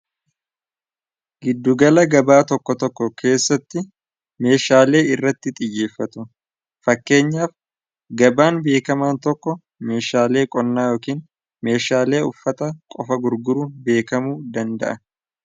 giddugala gabaa tokko tokko keessatti meeshaalee irratti xiyyeeffatu fakkeenyaaf gabaan beekamaan tokko meeshaalee qonnaa yookiin meeshaalee uffata qofa gurguruun beekamu danda'a